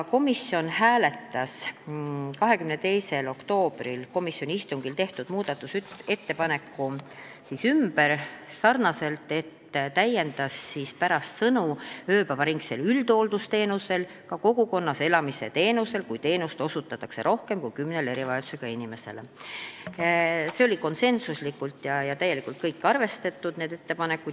Komisjon hääletas 22. oktoobri istungil tehtud muudatusettepaneku ümber, nimelt täiendati seaduse teksti ja pärast sõnu "ööpäevaringsel üldhooldusteenusel" lisati "kogukonnas elamise teenusel, kui teenust osutatakse rohkem kui kümnele erivajadusega isikule".